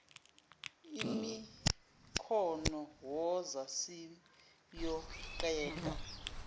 imikhono woza siyoqeda